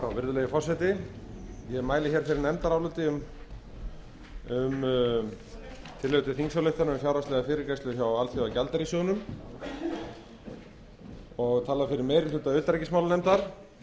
virðulegi forseti ég mæli fyrir nefndaráliti um tillögu til þingsályktunar um fjárhagslega fyrirgreiðslu hjá alþjóðagjaldeyrissjóðnum og tala fyrir meiri hluta utanríkismálanefndar